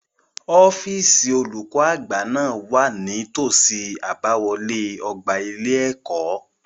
Ọ́fíìsì olùkó àgbà náà wà ní tòsí àbáwọlé ọgbà ilé-ẹ̀kọ́.